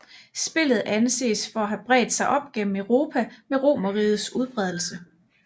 Spillet anses for at have bredt sig op gennem Europa med romerrigets udbredelse